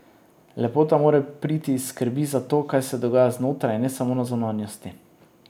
Lepota mora priti iz skrbi za to, kaj se dogaja znotraj, in ne samo na zunanjosti.